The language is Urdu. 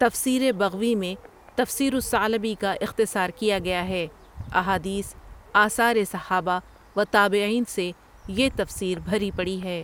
تفسیرِ بغوی میں تفسیر الثعلبی کا اختصار کیا گیا ہے احادیث، آثارِ صحابہ وتابعین سے یہ تفسیر بھری پڑی ہے۔